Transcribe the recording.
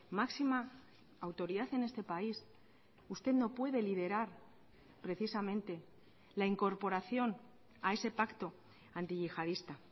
máxima autoridad en este país usted no puede liderar precisamente la incorporación a ese pacto antiyihadista